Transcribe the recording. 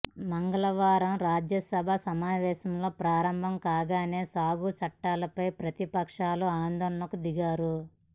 మంగళవారం రాజ్యసభ సమావేశాలు ప్రారంభం కాగానే సాగు చట్టాలపై ప్రతిపక్షాలు ఆందోళనకు దిగాయి